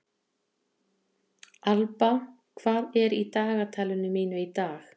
Alba, hvað er í dagatalinu mínu í dag?